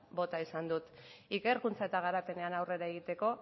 bota izan dut ikerkuntza eta garapenean aurrera egiteko